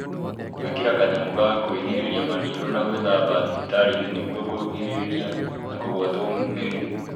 Gwĩkĩra kanyamũ ga kwĩrigĩrĩra maniũrũ nĩ gwa bata thibitarĩ-inĩ nĩguo kwĩrigĩrĩria na kũgwatio mĩrimũ